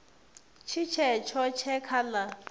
tshi tshetsho tshe kha la